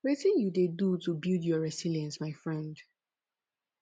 wetin you dey do to build your resilience my friend